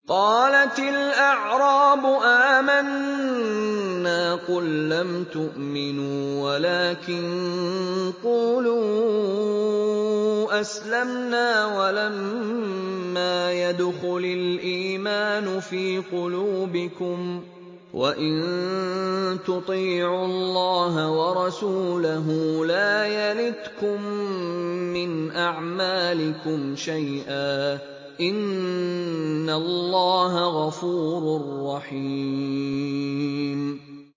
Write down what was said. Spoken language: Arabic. ۞ قَالَتِ الْأَعْرَابُ آمَنَّا ۖ قُل لَّمْ تُؤْمِنُوا وَلَٰكِن قُولُوا أَسْلَمْنَا وَلَمَّا يَدْخُلِ الْإِيمَانُ فِي قُلُوبِكُمْ ۖ وَإِن تُطِيعُوا اللَّهَ وَرَسُولَهُ لَا يَلِتْكُم مِّنْ أَعْمَالِكُمْ شَيْئًا ۚ إِنَّ اللَّهَ غَفُورٌ رَّحِيمٌ